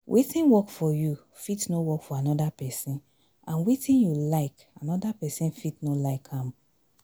wetin work for you fit no work for anoda person and wetin you like anoda person fit no like am